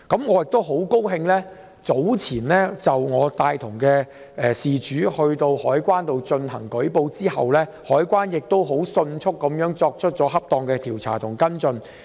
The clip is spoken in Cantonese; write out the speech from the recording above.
我很高興獲悉，早前我陪同事主到香港海關舉報後，海關迅速作出恰當的調查和跟進。